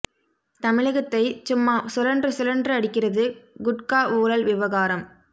தமிழகத்தை ச்சும்மா சுழன்று சுழன்று அடிக்கிறது குட்கா ஊழல் விவகாரம்